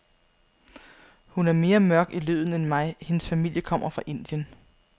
Hun er mere mørk i løden end mig, hendes familie kommer fra Indien.